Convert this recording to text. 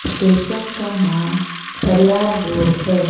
Station का नाम Khariar road है।